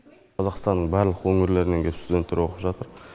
қазақстанның барлық өңірлерінен келіп студенттер оқып жатыр